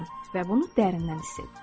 Və bunu dərindən hiss edirəm.